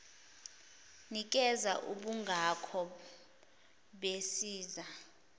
nikeza ubungako besiza